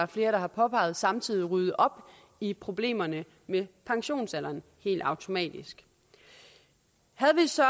flere har påpeget samtidig rydde op i problemerne med pensionsalderen helt automatisk havde vi så